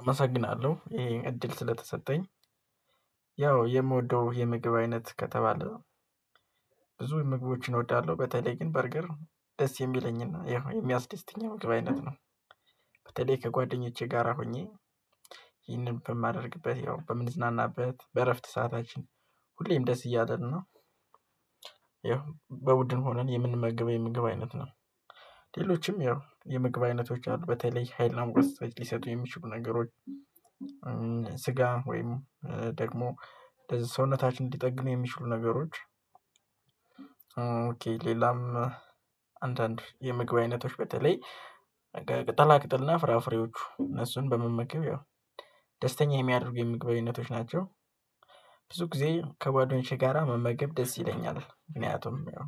አመሰግናለሁ ይሄ እድል ስለተሰጠኝ። ያው የምወደው የምግብ አይነት ከተባለ ብዙ ምግቦችን እወዳለሁ በተለይ ግን በርገር ደስ የሚለኝና የሚያስደስትኝ ምግብ አይነት ነው። በተለይ ከጓደኞቼ ጋራ ሆኜ ይህንን በማደርግበት ያው በምንዝናናበት በእረፍት ሰዓታችን ሁሌም ደስ እያለን ነው። ያው በቡድን ሆነን የምንመገበው የምግብ አይነት ነው። ሌሎችም ያው የምግብ አይነቶች አሉ በተለይ ሀይልና ሙቀት ሊሰጡ የሚችሉ ነገሮች። ስጋን ወይም ደግሞ ለዚህ ሰውነታችን እንዲጠግኑ የሚችሉ ነገሮች። ኦኬ ሌላም አንዳንድ የምግብ አይነቶች በተለይ በቃ ቅጠላ ቅጥልና ፍራፍሬዎቹ እነሱን በመመገብ ያው ደስተኛ የሚያደርጉ የምግብ አይነቶች ናቸው። ብዙ ጊዜ ከጓደኞቼ ጋራ መመገብ ደስ ይለኛል ምክንያቱም ያው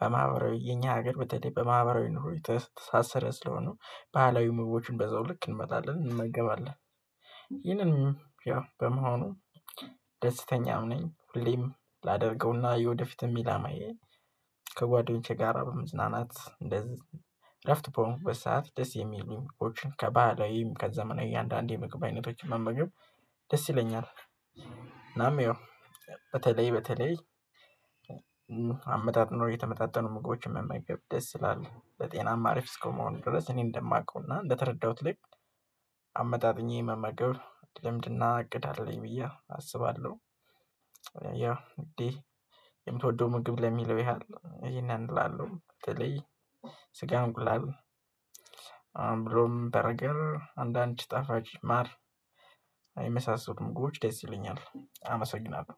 በማህበራዊ የኛ ሀገር በተለይ በማህበራዊ ኑሮ የተሳሰረ ስለሆነ ባህላዊ ምግቦችን በዘው ልክ እንበላለን እንመገባለን። ይህንንም ያው በመሆኑ ደስተኛም ነኝ ሁሌም ላደርገውና የወደፊትም ኢላማዬ። ከጓደኞቼ ጋራ በመዝናናት እንደዚህ እረፍት በሆንኩ በሰአት ደስ የሚሉኝም ኮችን ከባህላዊም ከዘናዊ እያንዳንዱ የምግብ አይነቶችን መመገብ ደስ ይለኛል። እናም ያው በተለይ በተለይ አመጣጥኖ የተመጣጠኑ ምግቦችን መመገብ ደስ ይላል። ለጤናማ አሪፍ እስከመሆኑ ድረስ እኔ እንደማውቀውና እንደተረዳሁት ልክ አመጣጥኜ መመገብ ልምድና እቅድ አለኝ ብዬ አስባለሁ። ያው እንዴ የምትወደው ምግብ ለሚለው ያህል ይሄን እላለሁ? ተለይ ስጋ እንቁላል ብሎም በረገር አንዳንድ ጭጣፋጭ ማር የመሳሰሉም ምግቦች ደስ ይለኛል። አመሰግናለሁ